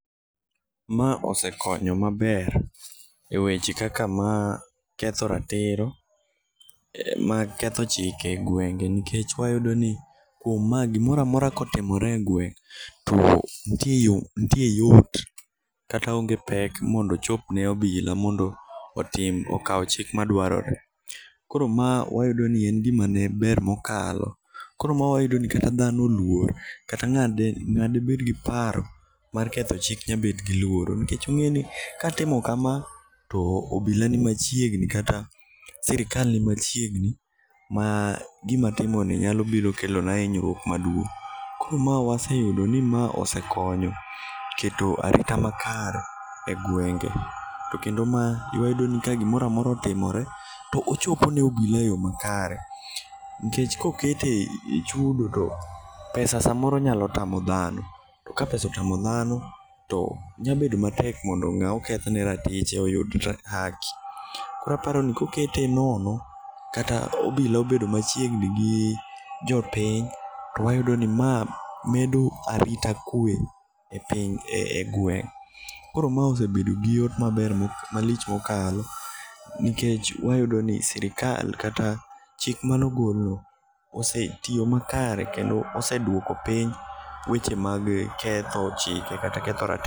Ma osekonyo maber e weche kaka mar ketho ratiro mag ketho chike e gwenge nikech wayudo ni kuom ma gimoro amora ka otimore e gweng' to nitie yot kata onge pek mondo ochop ne obila mondo otim okaw chik madwarore. Koro ma wayudo ni en gima ne ber mokalo. Koro ma wayudo ni kata dhano oluor. Kata ng'a debed gi paro mar ketho chik nyabed gi luoro. Nikech ong'e ni katimo kama to obila ni machiegni kata sirkal ni machiegni ma gimatimoni nyalo biro kelo na hinyruok maduong'. Koro ma waseyudo ni ma osekonyo keto arita makare e gwenge. To kendo ma wayudo ni ka gimoro amora otimore to ochopo ne obila e yo makare. Nikech kokete e chudo to pesa samoro nyalo tamo dhano. To kapesa otamo dhano to nyabedo matek mondo ng'a oketh ne ratiche oyud haki. Koro aparo ni kokete nono kata obila obedo machiegni gi jopiny to wayudo ni ma medo arita kwe e piny e gweng'. Koro ma osebedo gi yot maber malich mokalo. Nikech wayudo ni sirkal kata chik mano gol no osetiyo makare kendo oseduoko piny weche mag ketho chike kata ketho ratirto.